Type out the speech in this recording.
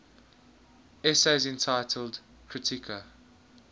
essays entitled kritika